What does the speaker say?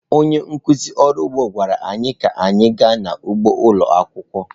Onye nkụzi ọrụ ugbo gwara anyị ka anyị gaa n’ugbo ụlọ akwụkwọ.